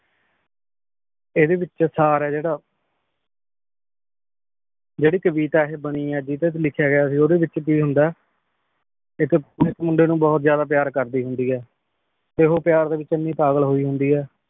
ਏਡੀ ਵਿਚ ਸਾਰ ਅ ਜੇਰਾ ਜੇਰੀ ਕਵਿਤਾ ਇਹ ਬਾਨੀ ਆ ਜਿਡੇ ਤੇ ਲਿਖਯਾ ਗਯਾ ਸੀ, ਓਡੀ ਚ ਕੀ ਹੁੰਦਾ ਇਕ ਮੁੰਡੇ ਨੂ ਬੋਹਤ ਜ਼ਾਯਦਾ ਪ੍ਯਾਰ ਕਰਦੀ ਹੁੰਦੀ ਹੈ। ਤੇ ਉਹ ਪਯਾਰ ਦੇ ਵਿਚ ਅੰਨੀ ਪਾਗਲ ਹੋਈ ਹੁੰਦੀ ਹੈ